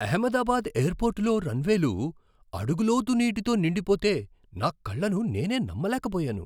అహ్మదాబాద్ ఎయిర్పోర్టులో రన్వేలు అడుగు లోతు నీటితో నిండిపోతే నా కళ్ళను నేనే నమ్మలేకపోయాను.